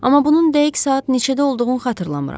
Amma bunun dəqiq saat neçədə olduğunun xatırlamıram.